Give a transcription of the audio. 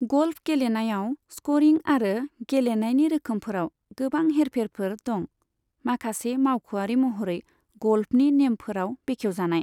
ग'ल्फ गेलेनायाव स्क'रिं आरो गेलेनायनि रोखोमफोराव गोबां हेरफेरफोर दं, माखासे मावख'आरि महरै ग'ल्फनि नेमफोराव बेखेवजानाय।